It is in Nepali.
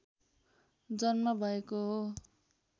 जन्म भएको हो